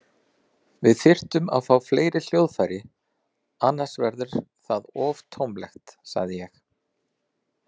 Við þyrftum að fá fleiri hljóðfæri, annars verður það of tómlegt, sagði ég.